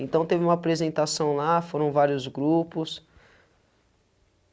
Então, teve uma apresentação lá, foram vários grupos.